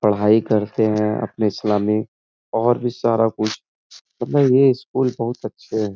पढ़ाई करते हैं। अपने सलामी और भी सारा कुछ मतलब ये स्कूल बहुत अच्छे हैं।